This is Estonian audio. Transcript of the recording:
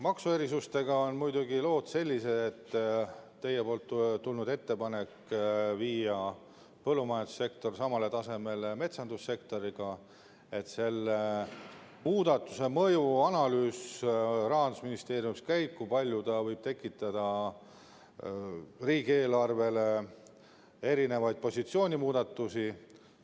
Maksuerisustega on lood muidugi sellised, et teie ettepanek oli viia põllumajandussektor samale tasemele metsandussektoriga, selle muudatuse mõjuanalüüs Rahandusministeeriumis käib, kui palju ta võib tekitada riigieelarvele erinevaid positsioonimuudatusi.